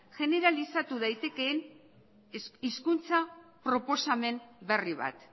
jeneralizatu daitekeen hizkuntza proposamen berri bat